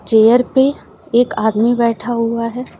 Chair पे एक आदमी बैठा हुआ है।